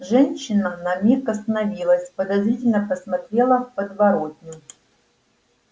женщина на миг остановилась подозрительно посмотрела в подворотню